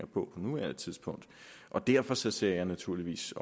på nuværende tidspunkt derfor ser jeg naturligvis